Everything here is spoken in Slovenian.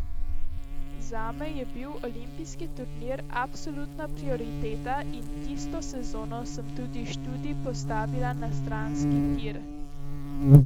Zame je bil olimpijski turnir absolutna prioriteta in tisto sezono sem tudi študij postavila na stranski tir.